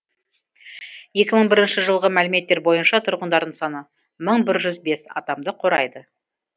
екі мың бірінші жылғы мәліметтер бойынша тұрғындарының саны мың бір жүз бес адамды құрайды